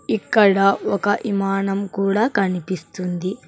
ఇక్కడ ఒక ఇమానం కూడా కనిపిస్తుంది.